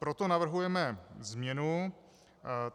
Proto navrhujeme změnu.